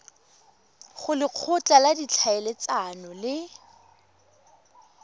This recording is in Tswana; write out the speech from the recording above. go lekgotla la ditlhaeletsano le